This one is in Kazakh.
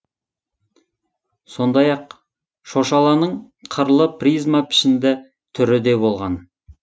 сондай ақ шошаланың қырлы призма пішінді түрі де болған